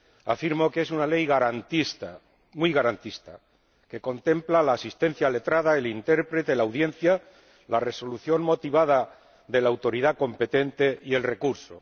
Afirmo que es una ley garantista —muy garantista— que contempla la asistencia letrada, el intérprete, la audiencia, la resolución motivada de la autoridad competente y el recurso.